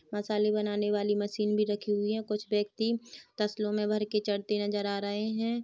मसाले बनाने वाली मशीन भी रखी हुई है कुछ व्यक्ति तसलो मे भर के चढ़ते नजर आ रहे हैं ।